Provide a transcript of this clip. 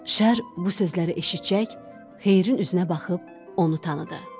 Şər bu sözləri eşitcək, Xeyrin üzünə baxıb onu tanıdı.